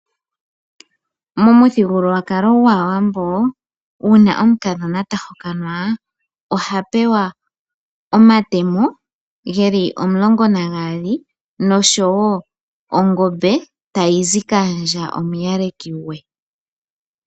Momuthigululwakalo gwAawambo uuna omukadhona ta hokanwa oha pewa omatemo geli omulongo nagaali noshowo ongombe tayi zi kaandja omuyaleki gwe.